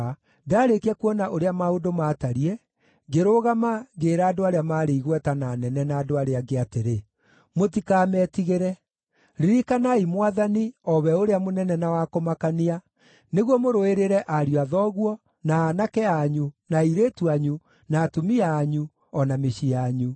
Ndaarĩkia kuona ũrĩa maũndũ maatariĩ, ngĩrũgama ngĩĩra andũ arĩa maarĩ igweta, na anene, na andũ arĩa angĩ atĩrĩ, “Mũtikametigĩre. Ririkanai Mwathani, o we ũrĩa mũnene na wa kũmakania, nĩguo mũrũĩrĩre ariũ a thoguo, na aanake anyu, na airĩtu anyu, na atumia anyu, o na mĩciĩ yanyu.”